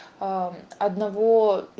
аа одного